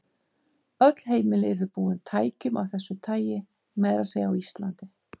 Öll heimili yrðu búin tækjum af þessu tagi, meira að segja á Íslandi.